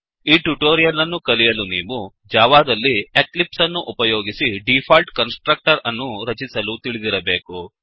ಈ ಟ್ಯುಟೋರಿಯಲ್ ಅನ್ನು ಕಲಿಯಲು ನೀವು ಜಾವಾದಲ್ಲಿ ಎಕ್ಲಿಪ್ಸ್ ಅನ್ನು ಉಪಯೋಗಿಸಿ ಡಿಫಾಲ್ಟ್ ಕನ್ಸ್ ಟ್ರಕ್ಟರ್ ಅನ್ನು ರಚಿಸಲು ತಿಳಿದಿರಬೇಕು